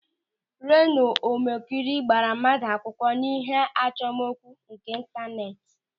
Renọ Ọmọkịrị gbara mmadụ akwụkwọ n'ihe achọmokwu nke intaneeti.